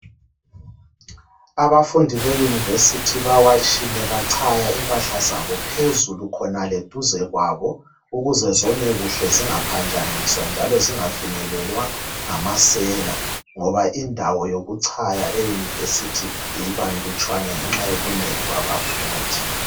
Abafundi beyunivesithi bawatshile bachaya impahla zabo phezulu khonale duze kwabo ukuze zome kuhle zingaphanjaniswa njalo zingafinyelelwa ngamasela ngoba indawo yokuchaya e yunivesithi ibanlutshwane ngenxa yobunengi babafundi.